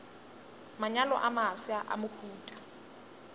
manyalo a mafsa a mohuta